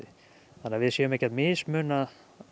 þannig að við séum ekki að mismuna